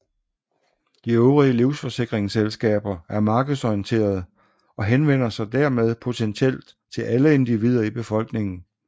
De øvrige livsforsikringsselskaber er markedsorienterede og henvender sig dermed potentielt til alle individer i befolkningen